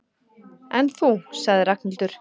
En þú sagði Ragnhildur.